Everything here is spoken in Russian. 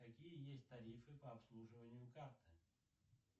какие есть тарифы по обслуживанию карты